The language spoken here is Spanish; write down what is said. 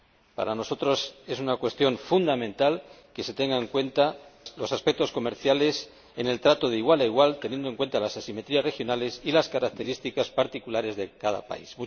Para nosotros es una cuestión fundamental que se tengan en cuenta los aspectos comerciales en el trato de igual a igual, teniendo en cuenta las asimetrías regionales y las características particulares de cada país.